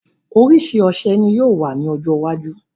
Orísìí ọṣẹ ni yóò wà ní ọjọ́ iwájú